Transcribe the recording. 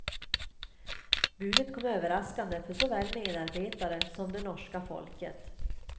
Budet kom överraskande för såväl medarbetare som det norska folket.